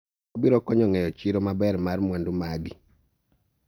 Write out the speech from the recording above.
wabiro konyo ng'eyo chiro maber mar mwandu magi